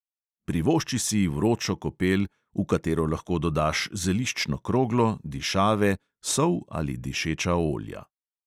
Privošči si vročo kopel, v katero lahko dodaš zeliščno kroglo, dišave, sol ali dišeča olja.